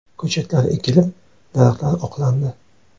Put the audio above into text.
Ko‘chatlar ekilib, daraxtlar oqlandi.